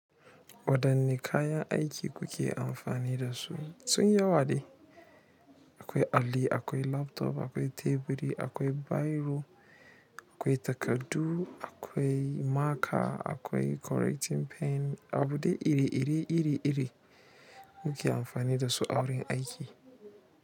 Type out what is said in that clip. Waɗanne kayan aiki kuke amfani da su? Sun yi yawadai akwai alli, akwai laptop, akwai teburi, akwai biro, akwai takardu, akwai maka, akwai correcting pen, abu da iri iri iri iri kuke amfani da su a wurin aiki.